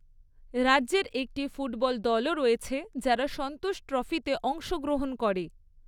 রাজ্যের একটি ফুটবল দলও রয়েছে যারা সন্তোষ ট্রফিতে অংশগ্রহণ করে।